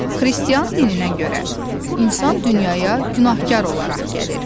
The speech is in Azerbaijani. Xristian dininə görə insan dünyaya günahkar olaraq gəlir.